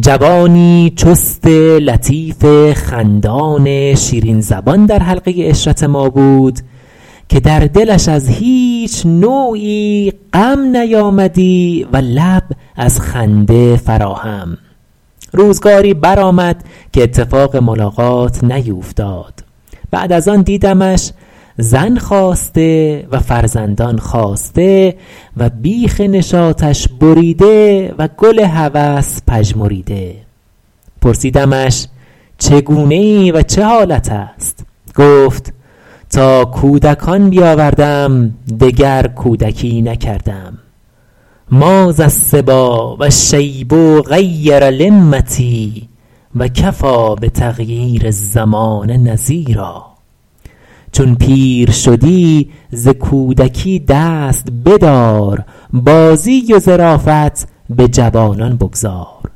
جوانی چست لطیف خندان شیرین زبان در حلقه عشرت ما بود که در دلش از هیچ نوعی غم نیامدی و لب از خنده فرا هم روزگاری برآمد که اتفاق ملاقات نیوفتاد بعد از آن دیدمش زن خواسته و فرزندان خاسته و بیخ نشاطش بریده و گل هوس پژمریده پرسیدمش چگونه ای و چه حالت است گفت تا کودکان بیاوردم دگر کودکی نکردم ما ذا الصبیٰ و الشیب غیر لمتی و کفیٰ بتغییر الزمان نذیرا چون پیر شدی ز کودکی دست بدار بازی و ظرافت به جوانان بگذار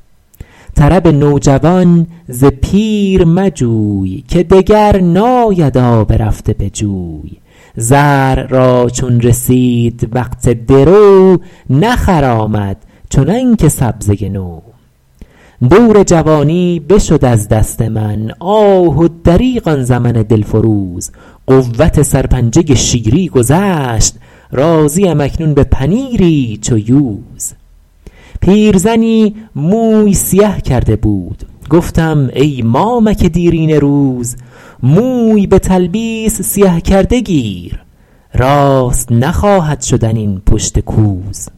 طرب نوجوان ز پیر مجوی که دگر ناید آب رفته به جوی زرع را چون رسید وقت درو نخرامد چنان که سبزه نو دور جوانی بشد از دست من آه و دریغ آن زمن دل فروز قوت سرپنجه شیری گذشت راضی ام اکنون به پنیری چو یوز پیرزنی موی سیه کرده بود گفتم ای مامک دیرینه روز موی به تلبیس سیه کرده گیر راست نخواهد شدن این پشت کوز